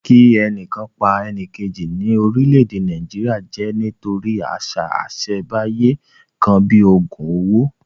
Kí ẹnìkan pa ẹnìjèkì ní orílẹ̀-èdè Nàìjíríà jẹ́ nítorí àṣà ìsẹ̀ńbáyé kan bíi ògùn owó